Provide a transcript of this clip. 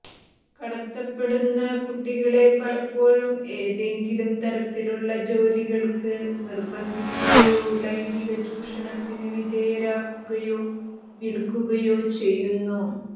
കടത്തപ്പെടുന്ന കുട്ടികളെ പലപ്പോഴും ഏതെങ്കിലും തരത്തിലുള്ള ജോലികള്ക്ക് നിര്ബന്ധിക്കുകയോ ലൈംഗിക ചൂഷണത്തിന് വിധേയരാക്കുകയോ വില്ക്കുകയോ ചെയ്യുന്നു